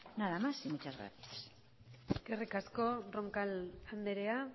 nada más y muchas gracias eskerrik asko roncal andrea